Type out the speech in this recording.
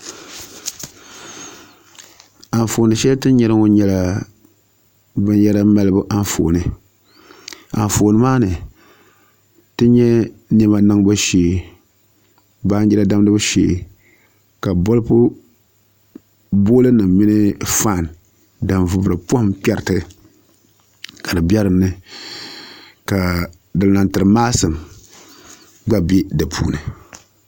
Anfooni shɛli ti ni nyɛri ŋɔ nyɛla binyɛra malibu Anfooni Anfooni maa ni ti nyɛ niɛma niŋbu shee baanjira damgibu shee ka bolfu nim mini faan din vubiri poham kpɛriti ka di bɛ dinni ka din tiri maasim gba bɛ di puuni